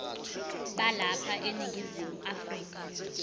balapha eningizimu afrika